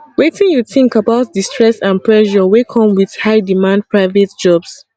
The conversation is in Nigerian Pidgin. wetin you think about di stress and pressure wey come with highdemand private jobs